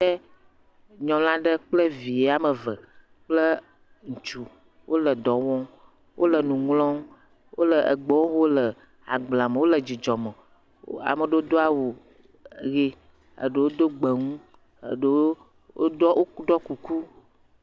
nyɔlaɖe kple vie wɔmeve kple ŋutsu wole dɔ wɔm wóle nuŋlɔm wóle egbewo ho le agblea me wóle dzidzɔ me amaɖewo dó wu ɣi eɖewo dó gbemu eɖewo ɖó kuku